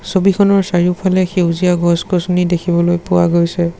ছবিখনৰ চাৰিওফালে সেউজীয়া গছ গছনি দেখিবলৈ পোৱা গৈছে।